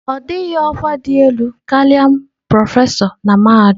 Ọ dịghị ọkwa dị elu karịa prọfesọ na mahadum.